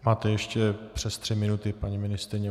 Máte ještě přes tři minuty, paní ministryně.